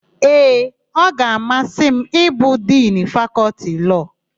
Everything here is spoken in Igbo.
Ee, ọ ga-amasị m ịbụ Dinu Fakọltị Lọọ.